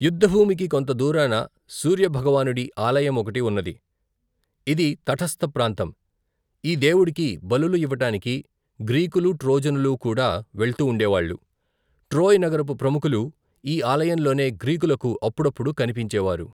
యుద్దభూమికి కొంత దూరాన, సూర్య భగవానుడి ఆలయం ఒకటి ఉన్నది, ఇది తటస్థ ప్రాంతం ఈ దేవుడికి బలులు ఇవ్వటానికి గ్రీకులు, ట్రోజనులూ కూడా, వెళ్తూ ఉండేవాళ్ళు, ట్రోయ్ నగరపు ప్రముఖులు, ఈ ఆలయంలోనే, గ్రీకులకు అప్పుడప్పుడూ కన్పించేవారు.